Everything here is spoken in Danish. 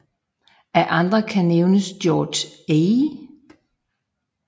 Af andre kan nævnes George A